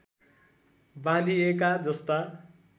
बाँधिएका जस्ता